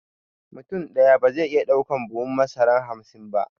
Mutum ɗaya ba zai iya ɗaukan buhun masara hamsin ba